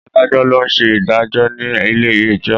Adájọ́ ló ń ṣe ìdájọ́ ní ilé ẹjọ́.